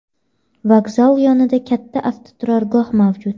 Vokzal yonida katta avtoturargoh mavjud.